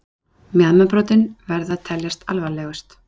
Mjaðmarbrotin verða að teljast alvarlegust.